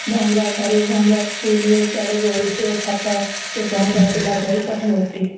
ଭଙ୍ଗ ଘରେ ଭଙ୍ଗ ସ୍କୁଲ ରେ ସେଆଡେ଼ ଗଳୁଥିବ ଛାତ ସେଠି ବସିକି ପିଲା ପାଠ ପଢୁଥିବେ